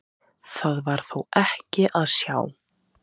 Það var þó ekki að sjá.